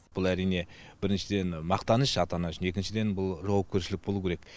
бұл әрине біріншіден мақтаныш ата ана үшін екіншіден бұл жауапкершілік болу керек